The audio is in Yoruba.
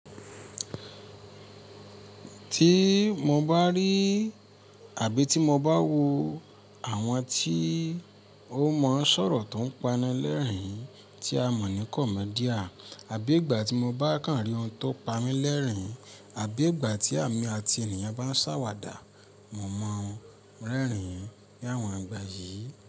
Tí mo bá rí àbí tí mo bá wo àwọn tí ó mọ sọ̀rọ̀ tó ń panilẹ́rìn-ín tí a mọ̀ ní comedian, àbí ìgbà tí mo bá kàn rí ohun tó pamí lẹ́rìn-ín, àbí ìgbà tí èmi àti ènìyàn bá ń sàwàdà, mo mọ̀ ọ́n rẹ́rìn-ín ní àwọn ìgbà yìí.